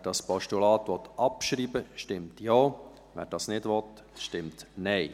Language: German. Wer dieses Postulat abschreiben will, stimmt Ja, wer das nicht will, stimmt Nein.